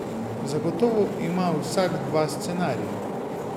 Zagotovo ima vsak dva scenarija.